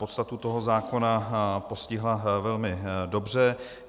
Podstatu toho zákona postihla velmi dobře.